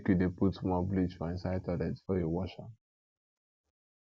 make you dey put small bleach for inside toilet before you wash am